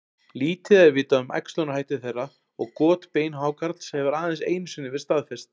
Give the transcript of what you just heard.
Lítið er vitað um æxlunarhætti þeirra og got beinhákarls hefur aðeins einu sinni verið staðfest.